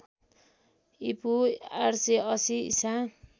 ईपू ८८० ईसा